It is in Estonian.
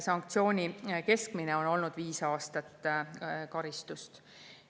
Sanktsiooni ehk karistuse on olnud keskmiselt viis aastat.